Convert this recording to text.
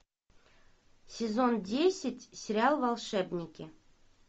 сезон десять сериал волшебники